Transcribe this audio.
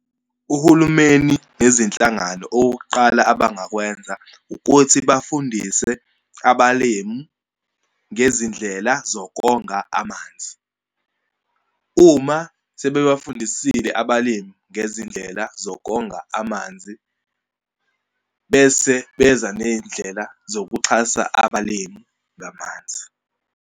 Uhulumeni nezinhlangano, okokuqala abangakwenza ukuthi bafundise abalimu ngezindlela zokonga amanzi. Uma sebebafundisile abalimu ngezindlela zokonga amanzi, bese beza neyindlela zokuxhasa abalimu ngamanzi.